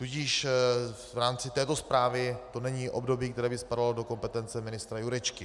Tudíž v rámci této zprávy to není období, které by spadalo do kompetence ministra Jurečky.